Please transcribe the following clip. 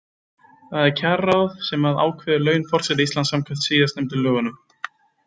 Það er kjararáð sem að ákveður laun forseta Íslands samkvæmt síðastnefndu lögunum.